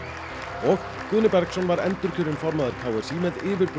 og Guðni Bergsson var endurkjörinn formaður k s í með yfirburða